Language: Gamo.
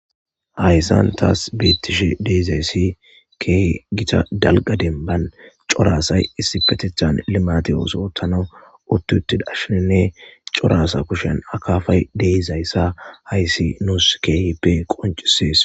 Hayssan taas beettishe deezaysi ke gita dalga denban coraasay issi petethan limati yooso otano uttutidashininne coraasa kushen akaafay deizayssa hayssi nuus keehippe qoncisees.